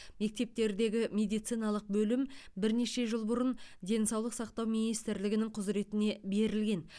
мектептердегі медициналық бөлім бірнеше жыл бұрын денсаулық сақтау министрлігінің құзіретіне берілген